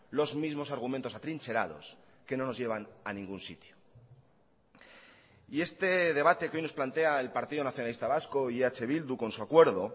los mismos argumentos atrincherados que no nos llevan a ningún sitio y este debate que hoy nos plantea el partido nacionalista vasco y eh bildu con su acuerdo